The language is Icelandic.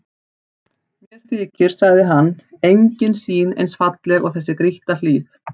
Mér þykir, sagði hann,-engin sýn eins falleg og þessi grýtta hlíð.